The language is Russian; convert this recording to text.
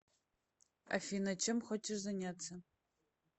афина чем хочешь заняться